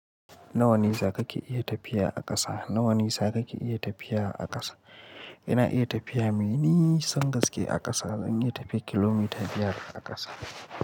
Na wane saƙa ke iya tafiya a ƙasa? Na wane saƙa ke iya tafiya a ƙasa? Ina iya tafiya mai nisan gaske a ƙasa, zan iya tafiya kilomita biyar a ƙasa.